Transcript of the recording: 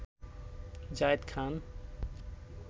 Zayed Khan